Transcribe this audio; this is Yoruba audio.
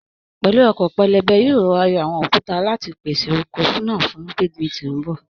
Pẹ̀lú ọkọ́ pẹlẹbẹ, yóò rọọra yọ àwọn òkúta láti pèsè oko náà fun gbíngbìn tí ń bọ̀.